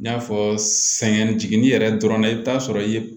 I n'a fɔ sɛgɛn jiginni yɛrɛ dɔrɔn na i bɛ t'a sɔrɔ i ye